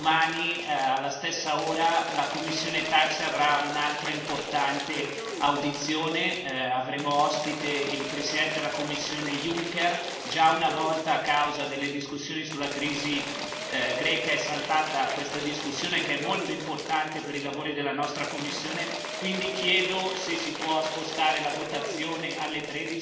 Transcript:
ma domani, alla stessa ora, la commissione TAXE avrà un'altra importante audizione avremo ospite il Presidente della Commissione Juncker, già una volta a causa delle discussioni sulla crisi greca è saltata questa discussione, che è molto importante per i lavori della nostra commissione, quindi chiedo se si può spostare la votazione alle